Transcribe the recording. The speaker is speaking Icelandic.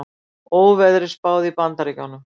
Óveðri spáð í Bandaríkjunum